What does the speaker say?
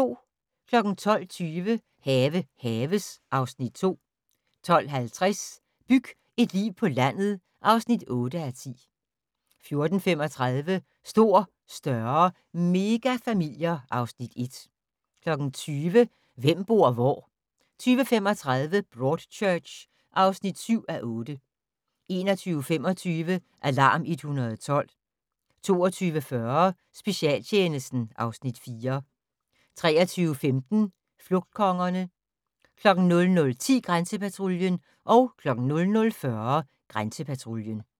12:20: Have haves (Afs. 2) 12:50: Byg et liv på landet (8:10) 14:35: Stor, større - megafamilier (Afs. 1) 20:00: Hvem bor hvor? 20:35: Broadchurch (7:8) 21:25: Alarm 112 22:40: Specialtjenesten (Afs. 4) 23:15: Flugtkongerne 00:10: Grænsepatruljen 00:40: Grænsepatruljen